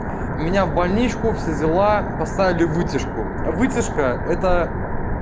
ой меня в больничку все дела поставили вытяжку вытяжка это